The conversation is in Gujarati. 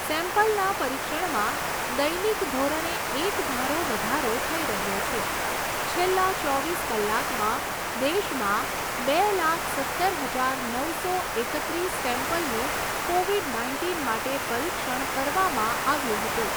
સેમ્પલના પરીક્ષણમાં દૈનિક ધોરણે એકધારો વધારો થઈ રહ્યો છે છેલ્લા ચોવીસ કલાકમાં દેશમાં બે લાખ સત્તર હજાર નવસો એકત્રીસ સેમ્પલનું કોવિડ નાઇન્ટીન માટે પરીક્ષણ કરવામાં આવ્યું હતું.